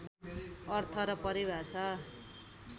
अर्थ र परिभाषा